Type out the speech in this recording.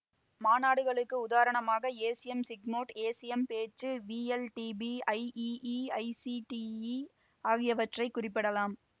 மாநாடுகளுக்கு உதாரணமாக ACM SIGMOD ACM PODS VLDB IEEE ICDE ஆகியவற்றை குறிப்பிடலாம்